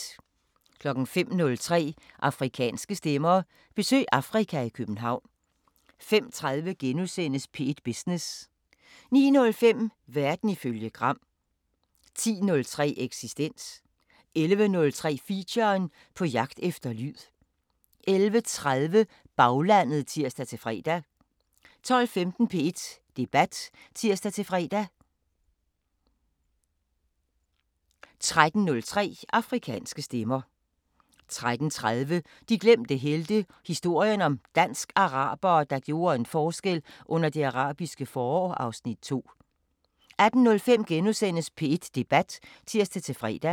05:03: Afrikanske Stemmer: Besøg Afrika i København 05:30: P1 Business * 09:05: Verden ifølge Gram 10:03: Eksistens 11:03: Feature: På jagt efter lyd 11:30: Baglandet (tir-fre) 12:15: P1 Debat (tir-fre) 13:03: Afrikanske Stemmer 13:30: De glemte helte – historien om dansk-arabere, der gjorde en forskel under Det Arabiske forår (Afs. 2) 18:05: P1 Debat *(tir-fre)